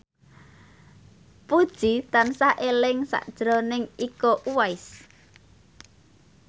Puji tansah eling sakjroning Iko Uwais